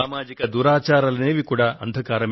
సామాజిక దురాచారాలు మరొక అంధకారం